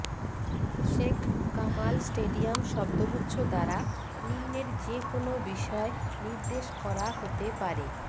Sheikh Kamal stadium শব্দগুচ্ছ দ্বারা নিম্নের যেকোন বিষয় নির্দেশ করা হতে পারেঃ